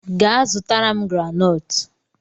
Gaa zụtara m granọọtụ!